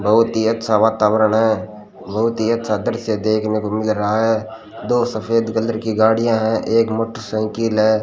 बहुत ही अच्छा वातावरण है बहुत ही अच्छा दृश्य देखने को मिल रहा है दो सफेद कलर की गाड़ियां हैं एक मोटरसाइकिल है।